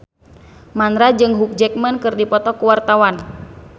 Mandra jeung Hugh Jackman keur dipoto ku wartawan